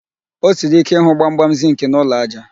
O siri ike ịhụ gbamgbam zịnkị n'ụlọ ájá